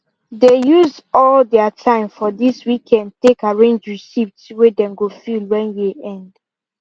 they use al their time for this weekend take arrange receipts way them go fill when year end